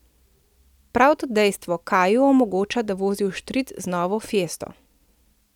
Prav to dejstvo kaju omogoča, da vozi vštric z novo fiesto.